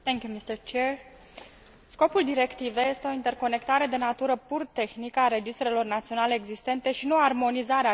Scopul directivei este o interconectare de natură pur tehnică a registrelor naționale existente, și nu o armonizare a cerințelor lor juridice.